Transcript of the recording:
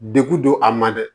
Degu don a ma dɛ